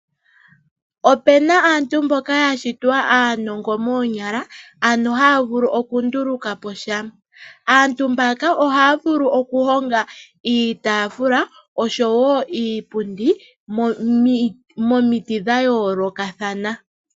Opuna aantu mboka ya shitwa aanongo moonyala, ano haya vulu oku nduluka po sha. Aantu mbaka ohaya vulu oku honga iitaafula oshowo iipundi momiti dha yoolokathana.